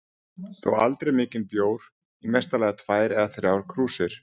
Þó aldrei mikinn bjór, í mesta lagi tvær eða þrjár krúsir.